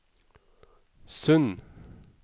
Sund